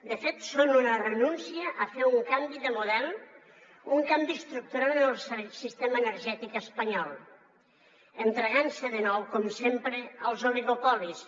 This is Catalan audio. de fet són una renúncia a fer un canvi de model un canvi estructural en el sistema energètic espanyol entregant se de nou com sempre als oligopolis